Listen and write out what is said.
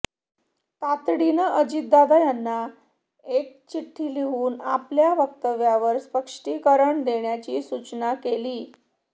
तातडीनं अजितदादांना एक चिठ्ठी लिहून आपल्या वक्तव्यावर स्पष्टीकरण देण्याची सूचना केली